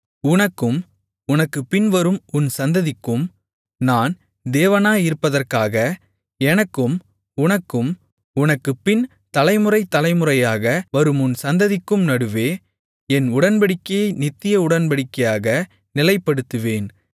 உனக்கும் உனக்குப் பின்வரும் உன் சந்ததிக்கும் நான் தேவனாயிருப்பதற்காக எனக்கும் உனக்கும் உனக்குப்பின் தலை முறை தலை முறையாக வரும் உன் சந்ததிக்கும் நடுவே என் உடன்படிக்கையை நித்திய உடன்படிக்கையாக நிலைப்படுத்துவேன்